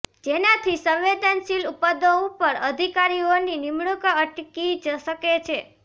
જેનાથી સંવેદનશીલ પદો ઉપર અધિકારીઓની નિમણુક અટકી શકે છે